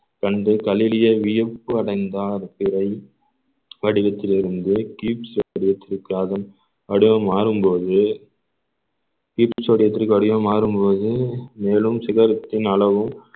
கண்டு கலிலியோ வியப்படைந்தார் திரை படிவத்திலிருந்து வடிவம் மாறும்போது மாறும்போது மேலும் சிகரத்தின் அளவும்